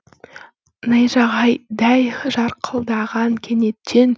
найзағайдай жарқылдаған кенеттен